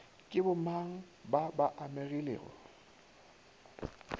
ke bomang ba ba amegilego